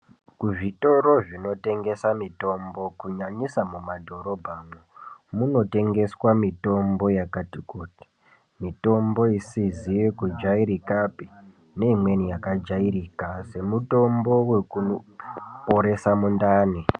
Kuzvitoro zvinotengesa mitombo kunyanyisa mumadhorobha munotengeswa mitombo yakati kuti mitombo isizi kujairika pii neinweni yakajairika semutombo wekukoresa mundani.